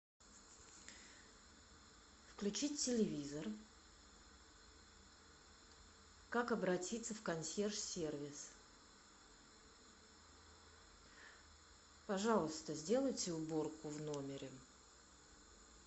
включить телевизор как обратиться в консьерж сервис пожалуйста сделайте уборку в номере